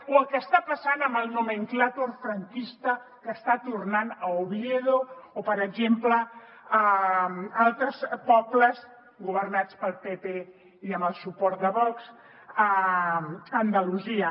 o el que està passant amb el nomenclàtor franquista que està tornant a oviedo o per exemple a altres pobles governats pel pp i amb el suport de vox a andalusia